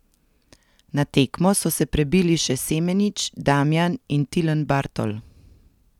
Na tekmo so se prebili še Semenič, Damjan in Tilen Bartol.